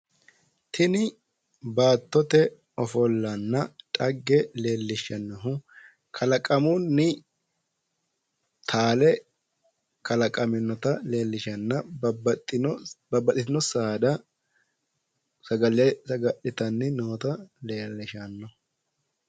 Tini baattote ofollanna xagge leellishshannohu kalaqamunni taale kalaqaminota leellishanna babbaxitino saada sagale saga'litanni noota leellishanno.